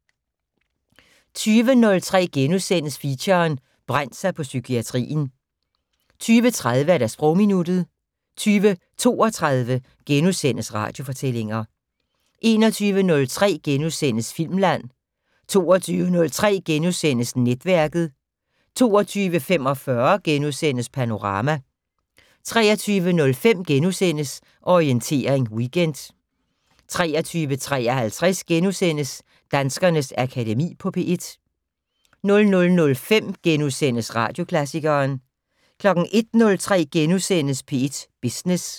20:03: Feature: Brændt sig på psykiatrien * 20:30: Sprogminuttet 20:32: Radiofortællinger * 21:03: Filmland * 22:03: Netværket * 22:45: Panorama * 23:05: Orientering Weekend * 23:53: Danskernes Akademi på P1 * 00:05: Radioklassikeren * 01:03: P1 Business *